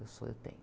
Eu sou, eu tenho.